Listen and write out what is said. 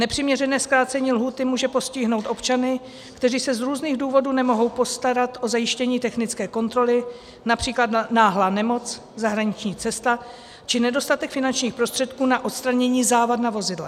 Nepřiměřené zkrácení lhůty může postihnout občany, kteří se z různých důvodů nemohou postarat o zajištění technické kontroly, například náhlá nemoc, zahraniční cesta či nedostatek finančních prostředků na odstranění závad na vozidle.